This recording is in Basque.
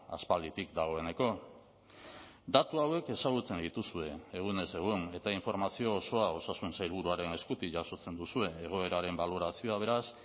aspalditik dagoeneko datu hauek ezagutzen dituzue egunez egun eta informazio osoa osasun sailburuaren eskutik jasotzen duzue egoeraren balorazioa beraz